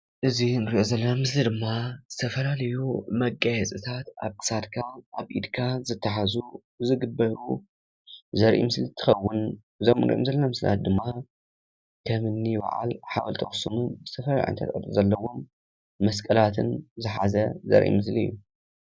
እዚ ንርኦ ዘለና ምስሊ ድማ ዝተፈላለዩ መጋየፅታት ኣብ ኽሳድካ ኣብ ኢድካ ዝተሓዙ ዝግበሩ ዘርኢ ምስሊ እንትኸውን እዞም ንርኦም ዘለና ምስልታት ድማ ከምኒ ባዓል ሓወልቲ ኣክሱም ዝተፈላለዩ ቅርፂታት ዘለዎም መስቀላትን ዘሓዘ ዘርኢ ምስሊ እዩ።